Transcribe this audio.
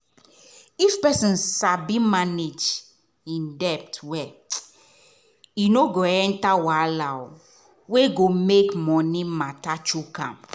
if person sabi manage im debt well e no go enter wahala wey go make money matter choke am.